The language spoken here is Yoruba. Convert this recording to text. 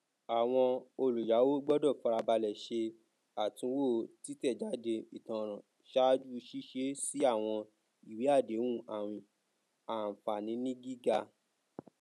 àwọn olùyàwó gbọdọ farabalẹ ṣe àtúnwò títẹjáde ìtanràn ṣáájú ṣíṣe sí àwọn ìwé àdéhùn àwìn ànfàànígíga